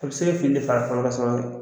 A bɛ se k'ile fa ye fɛn wɛrɛ sɔ